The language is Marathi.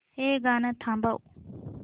हे गाणं थांबव